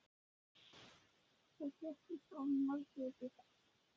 Það fréttist af Marteini Einarssyni á Vestfjörðum.